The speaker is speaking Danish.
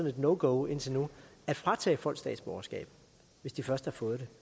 et no go indtil nu at fratage folk statsborgerskabet hvis de først har fået